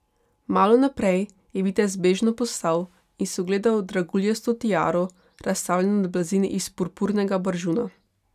Malo naprej je vitez bežno postal in si ogledal draguljasto tiaro, razstavljeno na blazini iz purpurnega baržuna.